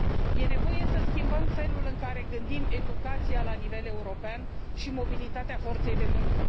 E nevoie să schimbăm felul în care gândim educația la nivel european și mobilitatea forței de muncă.